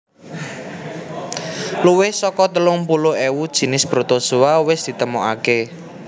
Luwih saka telung puluh ewu jinis protozoa wis ditemokaké